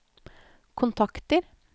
kontakter